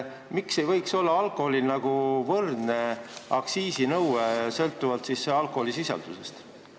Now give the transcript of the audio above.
Miks ei võiks alkoholil olla võrdne aktsiisinõue, sõltuvalt alkoholisisaldusest?